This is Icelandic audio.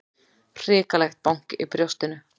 Hrikalegt bank í brjóstinu.